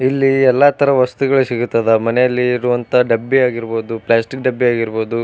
ಇಲ್ಲಿ ಎಲ್ಲ ತರ ವಸ್ತುಗಳು ಸಿಗುತ್ತದ. ಮನೆಯಲ್ಲಿ ಇಡುವಂತಹ ಡಬ್ಬಿ ಆಗಿರಬಹುದು ಪ್ಲಾಸ್ಟಿಕ್ ಡಬ್ಬಿ ಆಗಿರಬಹುದು.